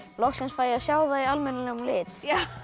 loksins fæ ég að sjá það í almennilegum lit